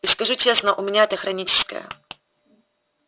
и скажу честно у меня это хроническое